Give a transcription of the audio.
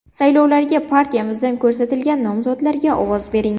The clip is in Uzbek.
Saylovlarda partiyamizdan ko‘rsatilgan nomzodlarga ovoz bering!